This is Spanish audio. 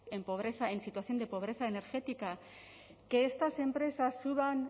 en pobreza en situación de pobreza energética que estas empresas suban